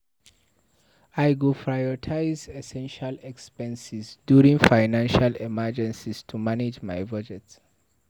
I go prioritize essential expenses during financial emergencies to manage my budget.